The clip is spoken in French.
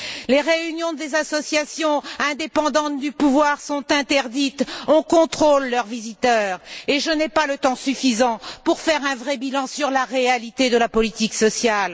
Les réunions des associations indépendantes du pouvoir sont interdites, on contrôle leurs visiteurs, et je n'ai pas le temps suffisant pour faire un vrai bilan de la réalité de la politique sociale.